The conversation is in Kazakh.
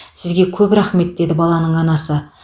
сізге көп рахмет деді баланың анасы